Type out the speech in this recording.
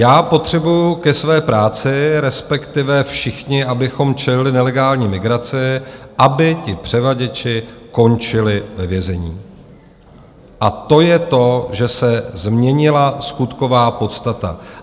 Já potřebuji ke své práci, respektive všichni, abychom čelili nelegální migraci, aby ti převaděči končili ve vězení, a to je to, že se změnila skutková podstata.